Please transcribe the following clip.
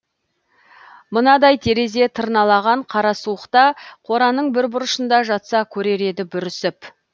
мынадай терезе тырналаған қара суықта қораның бір бұрышында жатса көрер еді бүрісіп